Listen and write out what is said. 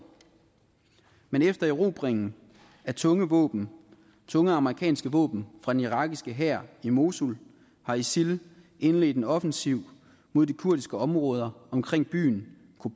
men efter erobringen af tunge våben tunge amerikanske våben fra den irakiske hær i mosul har isil indledt en offensiv mod de kurdiske områder omkring byen